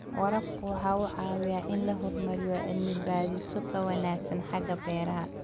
Waraabku waxa uu caawiyaa in la horumariyo cilmi-baadhisyo ka wanaagsan xagga beeraha.